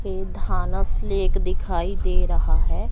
ये धानस लेक दिखाई दे रहा है।